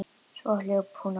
Svo hljóp hún áfram.